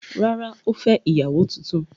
Rárá, ó fẹ́ ìyàwó tuntun.